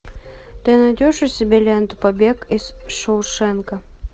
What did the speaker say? ты найдешь у себя ленту побег из шоушенка